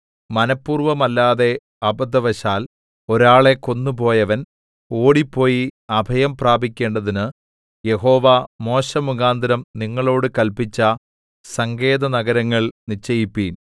മനപ്പൂർവമല്ലാതെ അബദ്ധവശാൽ ഒരാളെ കൊന്നുപോയവൻ ഓടിപ്പോയി അഭയം പ്രാപിക്കേണ്ടതിന് യഹോവ മോശെമുഖാന്തരം നിങ്ങളോടു കല്പിച്ച സങ്കേതനഗരങ്ങൾ നിശ്ചയിപ്പീൻ